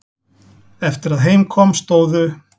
Eftir að heim kom stóðu